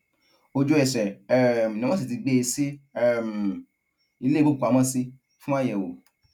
ojúẹsẹ um ni wọn sì ti gbé e sí um ilé ìgbókùúpamọ sí fún àyẹwò